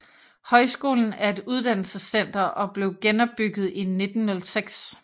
Højskolen er et uddannelsescenter og blev genopbygget i 1906